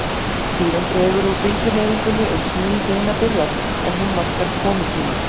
Síðan dregur úr bylgjuhreyfingunni uns ný hrina byrjar, en hún markar komutíma